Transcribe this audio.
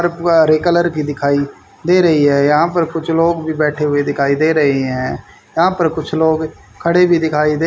हरे colour की दिखाई दे रही है यहां पर कुछ लोग भी बैठे हुए दिखाई दे रहे हैं यहां पर कुछ लोग खड़े भी दिखाई दे--